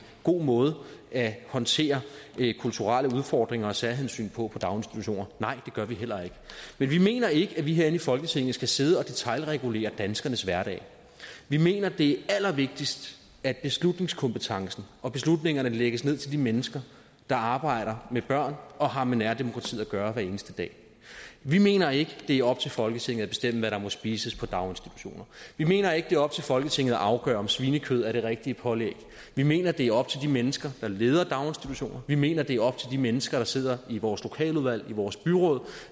god måde at håndtere kulturelle udfordringer og særhensyn på i daginstitutioner nej det gør vi heller ikke men vi mener ikke at vi herinde i folketinget skal sidde og detailregulere danskernes hverdag vi mener det er allervigtigst at beslutningskompetencen og beslutningerne lægges ned til de mennesker der arbejder med børn og har med nærdemokratiet at gøre hver eneste dag vi mener ikke det er op til folketinget at bestemme hvad der må spises i daginstitutioner vi mener ikke det er op til folketinget at afgøre om svinekød er det rigtige pålæg vi mener det er op til de mennesker der leder daginstitutioner vi mener det er op til de mennesker der sidder i vores lokaludvalg i vores byråd